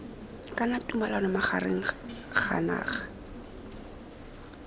kana tumalano magareng ga naga